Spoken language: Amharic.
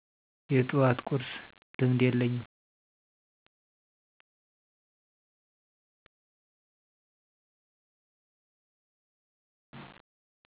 የጡዋት ቁርስ ልምድ የለኝም